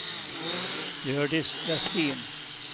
Hjördis Vestin